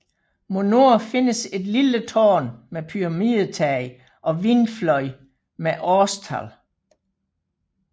Mod nord findes et lille tårn med pyramidetag og vindfløj med årstal